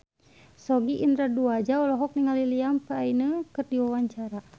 Sogi Indra Duaja olohok ningali Liam Payne keur diwawancara